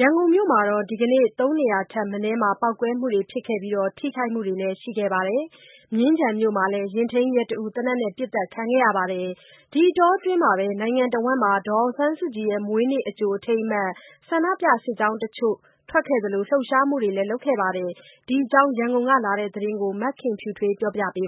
ရန်ကုန်မြို့မှာ ဒီကနေ့ သုံးနေရာထက်မနည်းမှာ ပေါက်ကွဲမှုတွေဖြစ်ခဲ့ပြီး ထိခိုက်မှုတွေလည်းရှိခဲ့ပါတယ်။ မြင်းခြံမြို့မှာလည်း ယာဉ်ထိန်းရဲတဦး သေနတ်နဲ့ ပစ်သတ်ခံရပါတယ်။ ဒီအတောအတွင်းမှာပဲ နိုင်ငံတဝန်းမှာ ဒေါ်အောင်ဆန်းစုကြည်ရဲ့ မွေးနေ့ အကြိုအထိမ်းအမှတ် ဆန္ဒပြစစ်ကြောင်းတချို့ထွက်ခဲ့သလို လှုပ်ရှားမှုတချို့လည်း လုပ်ခဲ့ကြပါတယ်။ ဒီအကြောင်း ရန်ကုန်ကလာတဲ့သတင်းကို မခင်ဖြူထွေးက ပြောပြပါမ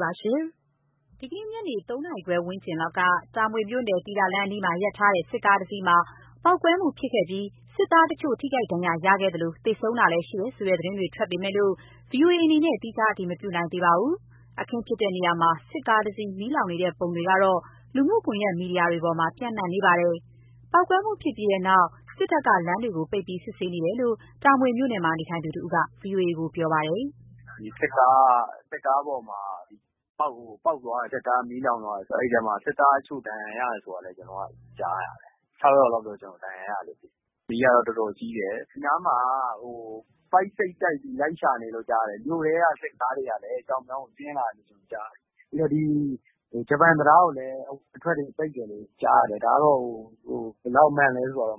ယ်။ ဒီကနေ့ ညနေ ၃ နာရီခွဲ ဝန်းကျင်လောက်က တာမွေမြို့နယ် သီတာလမ်းအနီးမှာ ရပ်ထားတဲ့ စစ်ကားတစ်စီးမှာ ဗုံးပေါက်ကွဲမှုဖြစ်ခဲ့ပြီး စစ်သားတချို့ ထိခိုက်ဒဏ်ရာရခဲ့သလို သေဆုံးတာလည်းရှိတယ်ဆိုတဲ့ သတင်းတွေထွက်ပေမယ့် ဗွီအိုအေအနေနဲ့ သီးခြားအတည်မပြုနိုင်သေးပါဘူး။ အခင်းဖြစ်တဲ့နေရာမှာ စစ်ကားတစီး မီးလောင်နေတဲ့ပုံတွေကတော့ လူမှုကွန်ယက်မီဒီယာတွေပေါ်မှာ ပျံ့နေပါတယ်။ ပေါက်ကွဲမှုဖြစ်ပြီးတဲ့နောက် စစ်တပ်က လမ်းတွေကိုပိတ်ပြီး စစ်ဆေးနေတယ်လို့ တာမွေမြို့နယ်မှာ နေထိုင်သူတဦးက VOA ကို ပြောပါတယ်။ “စစ်ကားပေါ်မှာ ပေါက်သွားတယ်၊ စစ်ကား မီးလောင်သွားတယ်ပေါ့နော်။ အဲ့ထဲမှာ စစ်သားတချို့ ဒဏ်ရာရသွားတယ်ဆိုတာလည်း ကျနော်ကြားရတယ်။ ၆ ယောက်လောက်တော့ ဒဏ်ရာရတယ်လို့ ကျနော်သိထားတယ်။ မီးကတော့ တော်တော်ကြီးတယ်။ ဒီနားမှာ ပိုက်စိတ်တိုက်ပြီး လိုက်ရှာနေတယ်လို့ကြားတယ်။ မြို့ထဲက စစ်ကားတွေကလည်း ဒီဘက်ကို ဆင်းလာနေတယ်လို့ ကြားတယ်။ ဒီ ဂျပန်တံတားကိုလည်း အထွက်အဝင် ပိတ်တယ် ကြားရတယ်။ အားလုံး အဝင်အထွက်ပိ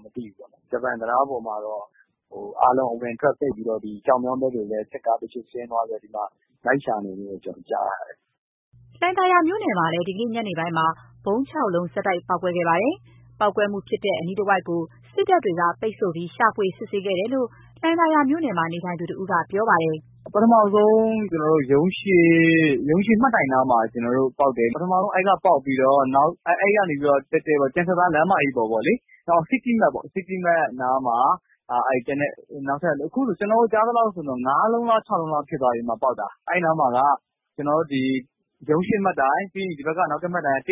တ်ပြီးတော့ ကျောက်မြောင်းဘက်ကိုလည်း စစ်ကားတချို့ ဆင်းသွားပြီးတော့ လိုက်ရှာနေတယ်လို့တော့ ကျနော်ကြားတယ်။” လှိုင်သာယာမြို့နယ်မှာလည်း ဒီကနေ့ ညနေပိုင်းမှာ ဗုံး ၆ လုံး ဆက်တိုက် ပေါက်ကွဲမှု ဖြစ်ခဲ့ပါတယ်။ ပေါက်ကွဲမှုဖြစ်တဲ့ အနီးတဝိုက်ကို စစ်တပ်တွေက ပိတ်ဆို့ပြီး ရှာဖွေစစ်ဆေးခဲ့တယ်လို့ လှိုင်သာယာမြို့နယ်မှာ နေထိုင်သူတဦးက ပြောပါတယ်။ “ပထမဆုံး ရုံးရှေ့မှတ်တိုင်နားမှာ ပေါက်တယ်။ အဲ့မှာပေါက်ပြီးတော့ အဲ့ကတည့်တည့် ကျန်စစ်သား လမ်းပေါ်ပေါ့လေ၊ စီးတီးမတ်နားမှာ ကျန်တဲ့အလုံးတွေပေ့ါ၊ ခုဆို ကျနော်တို့နားမှာ ကြားသလောက်ဆို ၅ လုံး၊ ၆ လုံးလောက် ဖြစ်သွားပြီဗျ ပေါက်တာ။ အဲ့နားမှာက ရုံးရှေ့မှတ်တိုင် အဲ့ရှေ့မှာက ၁၀၃ မှတ်တိုင်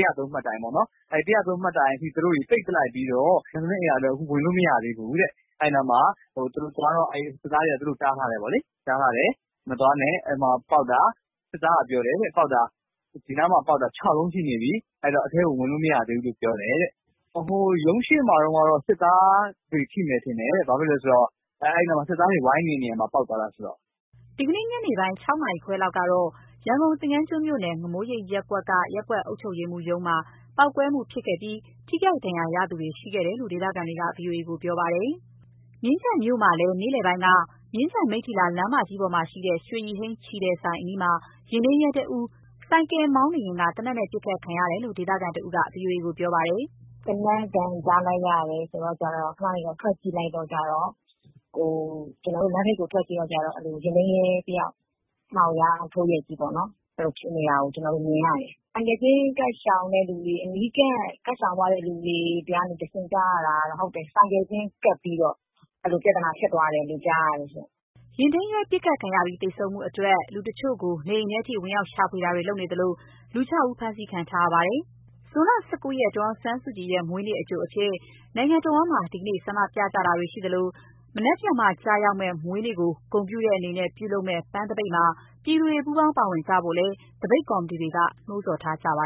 ပေါ့နော်၊ အဲ့ ၁၀၃ မှတ်တိုင်အထိ သူတို့တွေ ပိတ်လိုက်ပြီးတော့ ကျန်စစ်သားအိမ်ယာထဲကို ခုထိ ဝင်လို့မရသေးဘူးတဲ့ အဲ့နားမှာ သူတို့သွားတော့ သူတို့ကို စစ်သားတွေက တားထားတယ်ပေါ့လေ။ စစ်သားကပြောတယ်တဲ့ ဒီနားမှာ ပေါက်တာ ၆ လုံးရှိနေပြီ။ အဲ့တော့ အထဲကို ဝင်လို့မရသေးဘူးလို့ ပြောတယ်တဲ့။ ရုံးရှေ့မှာတုန်းကတော့ စစ်သားတွေ ထိမယ်ထင်တယ် ဘာလို့လဲဆိုတော့ အဲ့နား စစ်သားတွေ ဝိုင်းနေတဲ့ နေရာမှာ ပေါက်သွားတာဆိုတော့။” ဒီကနေ့ညနေပိုင်း ၆ နာရီခွဲလောက်ကတော့ ရန်ကုန်၊ သင်္ဃန်းကျွန်းမြို့နယ်၊ ငမိုးရိပ်ရပ်ကွက်က ရပ်ကွက်အုပ်ချုပ်ရေးမှူးရုံးမှာ ပေါက်ကွဲမှုဖြစ်ခဲ့ပြီး ထိခိုက်ဒဏ်ရာရသူတွေ ရှိခဲ့တယ်လို့ ဒေသခံတွေက ဗွီအိုအေကိုပြောပါတယ်။ မြင်းခြံြမို့မှာ နေ့လည်ပိုင်းက မြင်းခြံ မိတ္ထီလာ လမ်းမကြီးပေါ် ရွှေရည်ဟိန်း ချည်ထည်ဆိုင်အနီးမှာ ယာဉ်ထိန်းရဲတဦး ဆိုင်ကယ်မောင်းနေရင်းက သေနတ်နဲ့ ပစ်ခတ်ခံရတယ်လို့ ဒေသခံတဦးက ဗွီအိုအေကို ပြောပါတယ်။ “သေနတ်သံကြားလိုက်ရတယ်ဆိုတော့ ထွက်ကြည့်လိုက်တော့ကျတော့ ယာဉ်ထိန်းရဲတယာက် မှောက်လျားထိုးရက်ကြီး ဖြစ်နေတာကို မြင်ရတယ်။ ဆိုင်ကယ်စီးရင်း အနီးကပ် ကပ်ရှောင်သွားတဲ့ သူတွေဆီကနေတဆင့်ကြားရတာကတော့ ဟုတ်တယ်၊ အဲ့လို ဆိုင်ကယ်စီးရင်း ဘေးကနေ ကပ်ပြီးတော့ ပြဿနာဖြစ်သွားတယ်လို့ ကြားတယ်ရှင့်။” ယာဉ်ထိန်းရဲ ပစ်ခတ်ခံရပြီး သေဆုံးမှုအတွက် လူတချို့ကို နေအိမ်ထဲထိ ဝင်ရောက်ရှာဖွေတာတွေ လုပ်နေသလို ၆ ဦး ဖမ်းဆီးခံထားရပါတယ်။ ဇွန်လ ၁၉ ရက် ဒေါ်အောင်ဆန်းစုကြည်ရဲ့ မွေးနေ့အကြိုအဖြစ် နိုင်ငံတဝန်းမှာ ဒီကနေ့ ဆန္ဒပြကြတာတွေ ရှိသလို မနက်ဖြန်မှာကျရောက်မယ့် မွေးနေ့ကို ဂုဏ်ပြုတဲ့အနေနဲ့ ပြုလုပ်မယ့် ပန်းသပိတ်မှာ ပြည်သူတွေ ပူးပေါင်းပါဝင်ကြဖို့လည်း သပိတ်ကော်မတီတွေက နှိုးဆော်ထားကြပါ